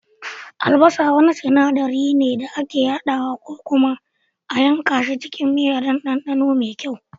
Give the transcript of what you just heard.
Albasa wani sinaɗari ne da ake hadawa ko kuma a yanka shi cikin miya don ɗanɗano mai kyau